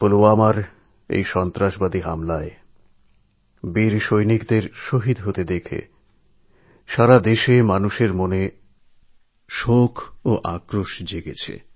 পুলওয়ামাতে সন্ত্রাসবাদীদের আক্রমণে বীর জওয়ানদের শহিদ হওয়ার পর সারা দেশের মানুষের মনেই আঘাত ও আক্রোশ জন্মেছে